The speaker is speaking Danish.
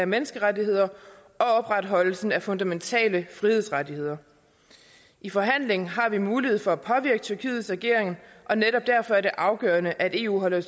menneskerettigheder og opretholdelse af fundamentale frihedsrettigheder i forhandling har vi mulighed for at påvirke tyrkiets ageren og netop derfor er det afgørende at eu holder